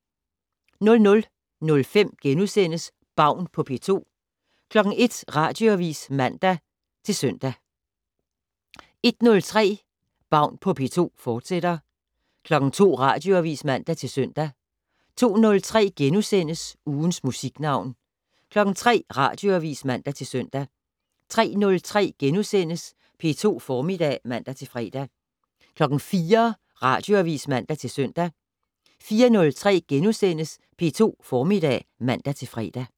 00:05: Baun på P2 * 01:00: Radioavis (man og -søn) 01:03: Baun på P2, fortsat 02:00: Radioavis (man-søn) 02:03: Ugens Musiknavn * 03:00: Radioavis (man-søn) 03:03: P2 Formiddag *(man-fre) 04:00: Radioavis (man-søn) 04:03: P2 Formiddag *(man-fre)